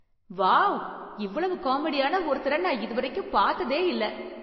Wow! இவ்வளவு காமெடியான ஒருத்தரை நான் இதுவரைக்கும் பார்த்ததே இல்லை.